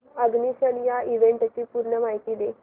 ignition या इव्हेंटची पूर्ण माहिती दे